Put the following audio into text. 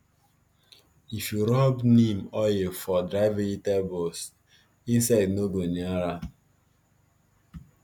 if you rub neem oil for dry vegetables insect no go near am